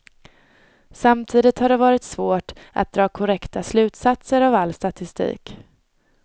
Samtidigt har det varit svårt att dra korrekta slutsatser av all statistik.